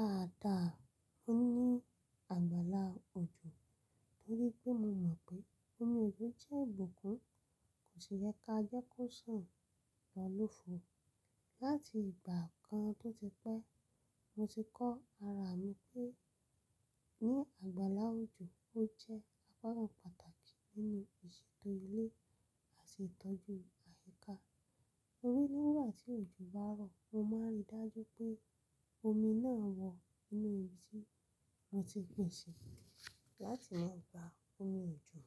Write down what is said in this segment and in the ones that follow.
Dáadáa, mo ní àgbàlá òjò torí pé mo mọ̀ pé omi òjò jẹ́ ìbùkún, kò sì yẹ ká jẹ́ kó sàn lọ lófo. Láti ìgbà kan tó ti pẹ́, mo ti kọ́ ara mi pé ní àgbàlá òjò ó jẹ́ apá kan pàtàkì nínú ìṣètò ilé àti ìtọ́jú àyíká. Orí nígbà tí òjò bá rọ̀, mo máa ń rí i dájú pé omi náà wọ inú ibi tí mo ti pè ṣe láti máa gba omi òjò.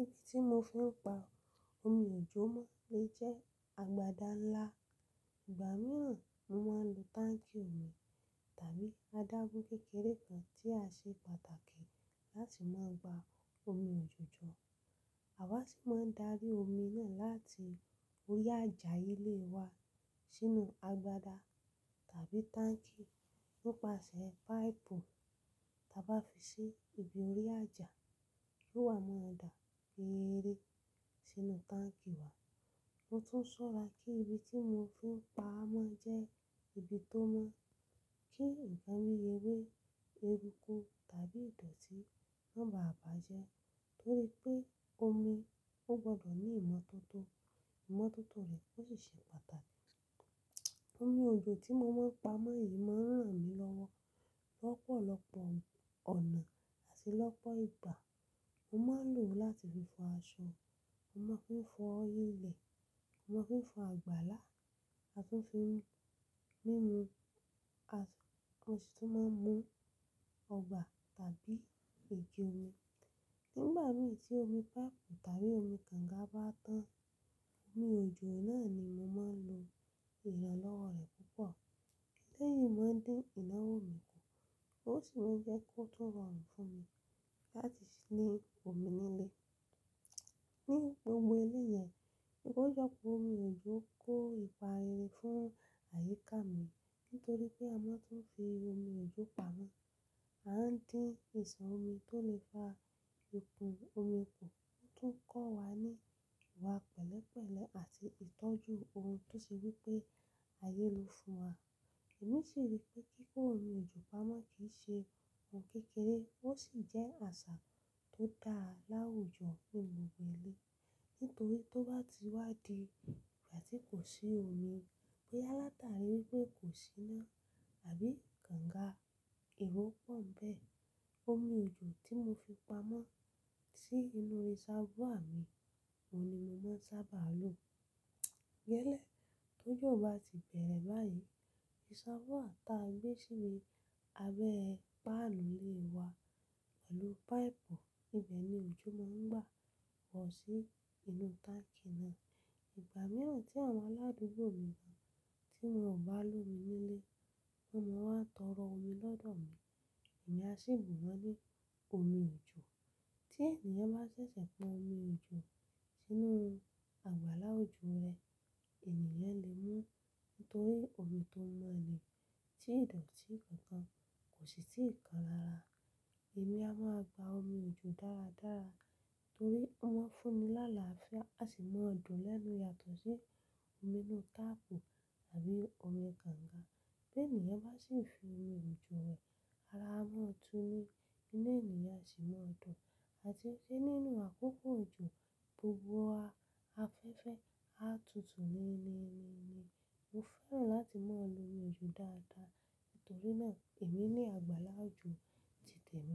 Ibi tí mo fi ń gba omi òjò máa ń lè jẹ́ agbada ńlá. Ìgbà mìíràn mo máa ń lo táǹkì omi tàbí adágún kékeré kan tí a ṣe pàtàkì láti máa gba omi òjò jọ. Àwa sì máa ń darí omi náà láti orí àjà ilé wa sínú agbada tàbí táǹkì nípasẹ̀ páìpù. Taa bá fi ṣe ibi orí àjà yóò wá mọ́ ó dà fi eré sínú táǹkì wa. Mo tún ṣọ́ra pé ibi tí mo fi ń pa á máa jẹ́ ibi tó mọ́ kí ìgbà mí yewé, eérúkú tàbí ìdọ̀tí má bà á bàjẹ́ torí pé omi ó gbọdọ̀ ní ìmọ́tótó. Ìmọ́tótó rẹ̀ ó sì ṣe pàtàkì. Omi òjò tí mo máa ń pa mọ́ yìí máa ń ràn mí lọ́wọ́ lọ́pọ̀lọpọ̀ ọ̀nà àti lọ́pọ̀ ìgbà. Mo máa ń lò ó láti fi fọ aṣọ, mo máa ń fi fọ ilẹ̀, mo máa ń fi fọ àgbàlá, a tún fi ń mú ńmu, a tún máa ń mú ọgbà tàbí èjì omi. Nígbà mì tí omi páìpù tàbí omi kànga bá tán, omi òjò náà ni mo máa ń lo ìrànlọ́wọ́ rẹ̀ púpọ̀. Ilé yìí má ń dín ìnáwó mi kù, ó sì ń jẹ́ kó tún rọrùn fún mi láti ní omi nílé. Ní gbogbo ilé yẹn, ni kó yọpọ̀ omi òjò kó ìpà ìrìn fún àyíká mi nítorí pé a máa ń tún fi omi òjò pamọ́. A ń dín ìṣàn omi tó lè fa ikùn omi kù, ó tún ń kọ́ wa ní ìwà pẹ̀lẹ́pẹ̀lẹ́ àti ìtọ́jú ohun tó ṣe wí pé ayé ló fún wa. Èmi sì rí pé kí kó omi òjò pamọ́ kì í ṣe ohun kékeré, ó sì jẹ́ àṣà tó dá lá wújò nínú gbogbo ilé nítorí tó bá ti wá di ìgbà tí kò sí omi, pé alátàrí pé kò sí iná àbí kànga, èrò pọ̀ ń bẹ́ẹ̀. Omi òjò tí mo fi pamọ́ sí inú ìṣàwọ́ à mi, òun ni mo máa ń sábà lo. Gẹ́lẹ́ tó jọ̀ bá ti bẹ̀rẹ̀ báyìí, ìṣàwọ́ ta gbé sí inú abẹ́ páànù ilé wa pẹ̀lú páìpù, ibẹ̀ ni òjò máa ń gbà wọ̀ sí inú táǹkì náà. Ìgbà mìíràn tí àwọn aládùúgbò mi mọ̀ tí wọn ò bá lómi nílé, wọn máa wà ń tọrọ omi lọ́dọ̀ mi, èmi á sì bù wọ́n ní omi òjò. Tí ènìyàn bá ṣẹ̀ṣẹ̀ pọn omi òjò sínú àgbàlá òjò rẹ̀, ènìyàn lè mú un torí omi tó mọ́ ni, tí ìdọ̀tí kankan kò sí tí í kan rara. Èmi a máa gba omi òjò dáradára torí ó máa ń fún mi láàlá fià á sì máa dùn lẹ́nu yàtọ̀ sí omi inú táàpù àbí omi kànga. Bí ènìyàn bá sì fi omi òjò wẹ̀ ara, a máa tú ní ilé ènìyàn sì máa dùn àti pé nínú àkókò òjò gbogbo wa, afẹ́fẹ́ á tutù níní níní. Mo fẹ́ràn láti máa lo omi òjò dáadáa nítorí náà èmi ní àgbàlá òjò ti tèmi.